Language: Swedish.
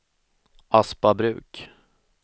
Aspabruk